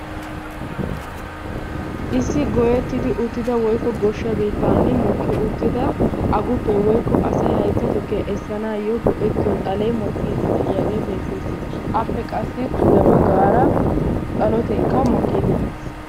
Issi gooyyetidi uttifa woykko goshsha biittan aguppe woykko asay haytta tukkiya essanayyo go"etiyoo xalee mokkide de'iyaage beettees. Appe qassi pude baggaara xalotekka mokkide des.